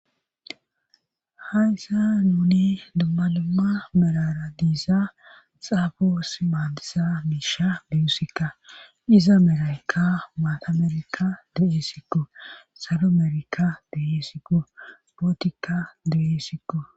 hayssani dumma dumma merara diiza xaafoos maandiza miisha diyusikka diza meraykka maatamerika du7esiko salo merayka de'esko bootika de7esiko